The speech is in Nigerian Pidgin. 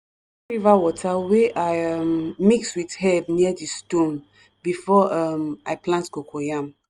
river water wey i um mix with herbs near di stone before um i plant coco yam.